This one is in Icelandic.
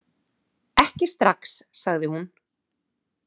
Ekki strax, sagði hún.